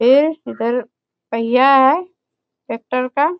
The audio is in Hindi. ये इधर पहिया है ट्रैक्टर का।